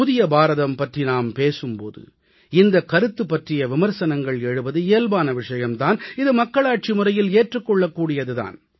புதிய பாரதம் பற்றி நாம் பேசும் போது இந்தக் கருத்து பற்றிய விமர்சனங்கள் எழுவது இயல்பான விஷயம் தான் இது மக்களாட்சி முறையில் ஏற்றுக் கொள்ளக் கூடியது தான்